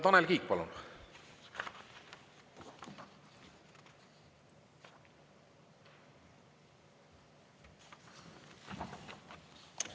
Tanel Kiik, palun!